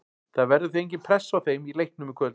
Það verður því engin pressa á þeim í leiknum í kvöld.